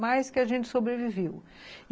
Mas que a gente sobreviveu.